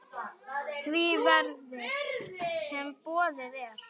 því verði, sem boðið er.